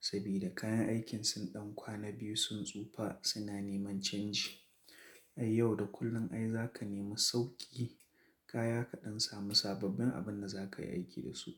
sabida kayan aikin sun ɗan kwana biyu sun tsufa suna neman canji. Ai yau da kullum ai za ka nemi sauƙi kaya kaɗan samu sababbin abin da za ka yi aiki da su.